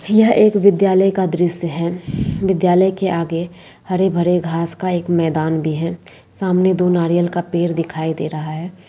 यह एक विद्यालय का दृश्य है विद्यालय के आगे हरे-भरे घास का एक मैदान भी है सामने दो नारियल के पेड़ दिखाई दे रहा है।